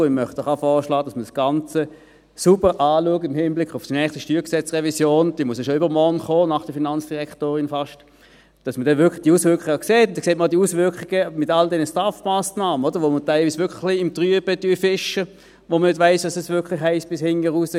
Ich möchte auch vorschlagen, dass man das Ganze im Hinblick auf die neue StG-Revision sauber anschaut – diese muss nach Aussage der Finanzdirektorin ja schon fast übermorgen kommen –, damit man dann die Auswirkungen sieht – die Auswirkungen mit all den STAF-Massnahmen, bei welchen wir teilweise wirklich im Trüben fischen, wo man nicht weiss, was es bis zum Letzten heisst.